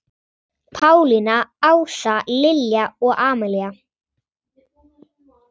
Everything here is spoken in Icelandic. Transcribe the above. Pálína, Ása, Lilja og Amalía.